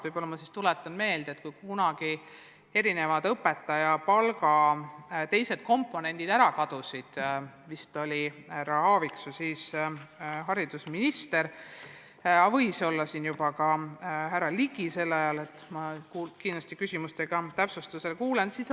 Võib-olla ma siis tuletan meelde, et kui kunagi õpetaja palga teised komponendid ära kadusid, siis vist oli härra Aaviksoo haridusminister, aga võis olla juba ka härra Ligi – ma kindlasti küsimuste esitamise ajal saan teada.